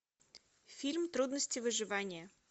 фильм трудности выживания